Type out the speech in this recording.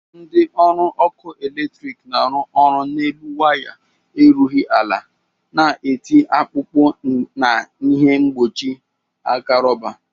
Ndị ọrụ ọkụ eletrik na-arụ ọrụ n'elu waya erughi ala na-eti akpụkpụ na ihe mkpụchị aka rọba.